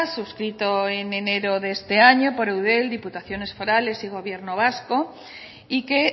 suscrito en enero de este año por eudel diputaciones forales y gobierno vasco y que